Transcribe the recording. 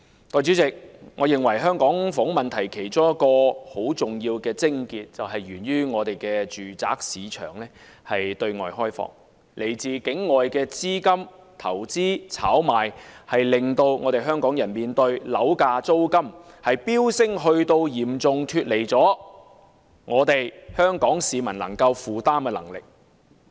代理主席，我認為香港房屋問題其中一個重要癥結，源於我們的住宅市場對外開放，來自境外資金的投資炒賣，令香港人要面對樓價和租金飆升至嚴重脫離香港市民可以負擔的能力。